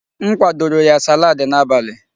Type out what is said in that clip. M kwadoro ya salaadi n'abalị.